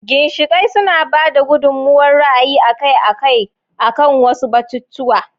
ginshiƙai suna ba da gudummawar ra'ayi akai-akai akan wasu batutuwa.